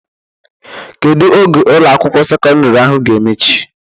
Kedu oge Ụlọ akwụkwọ sekọndrị ahụ ga-emechi?